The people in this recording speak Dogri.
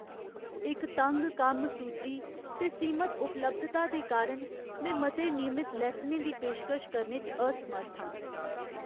इक तंग कम्म सूची ते सीमत उपलब्धता दे कारण, में मते नियमत लैसनें दी पेशकश करने च असमर्थ आं।